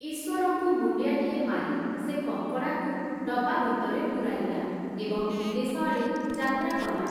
ଈଶ୍ଵରଙ୍କୁ ମୁଣ୍ଡିଆଟିଏ ମାରି, ସେ କଙ୍କଡ଼ାକୁ ଡ଼ବା ଭିତରେ ପୂରାଇଲା, ଏବଂ ବିଦେଶଆଡ଼େ ଯାତ୍ରା କଲା ।